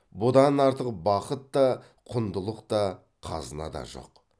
бұдан артық бақыт та құндылық та қазына да жоқ